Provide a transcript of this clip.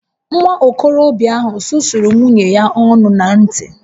Nwa okorobịa ahụ susuru nwunye ya ọnụ na ǹtì